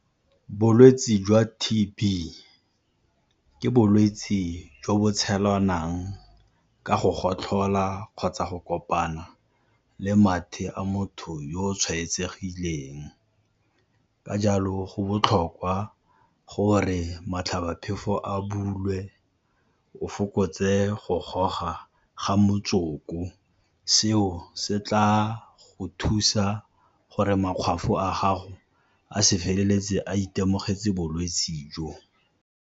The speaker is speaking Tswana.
Bolwetse jwa T_B ke bolwetse jwa bo tshelwanang ka go gotlhola kgotsa go kopana le mathe a motho yo o tshwaetsegileng, ka jalo go botlhokwa gore motlhabaphefo a bulwe, o fokotse go goga ga motsoko. Seo se tla go thusa gore makgwafo a gago a se feleletse a itemogetse bolwetse jo.